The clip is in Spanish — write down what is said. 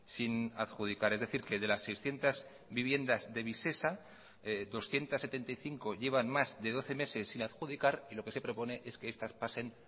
sin adjudicar es decir que de las seiscientos viviendas de visesa doscientos setenta y cinco llevan más de doce meses sin adjudicar y lo que se propone es que estas pasen